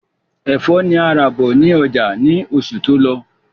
Ẹfọ́ ni a rà bọ̀ ní ọjà ni oṣù tó lọ